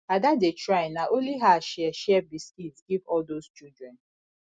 ada dey try na only her share share biscuit give all those children